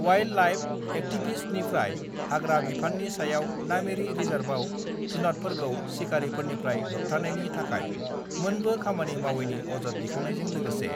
wild life एक्टिभिस्टनिफ्राय हाग्रा बिफाननि सायाव नामेरि रिजार्भआव जुनातफोरखौ सिखारिफोरनिफ्राय होबथानायनि थाखाय मोनबो खामानि मावैनि अजद दैखांनायजों लोगोसे